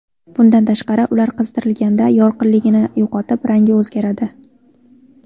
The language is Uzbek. Bundan tashqari, ular qizdirilganda yorqinligini yo‘qotib, rangi o‘zgaradi.